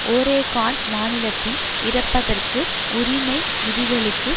Oregon மாநிலத்தின் இறப்பதற்கு உரிமை விதிகளுக்கு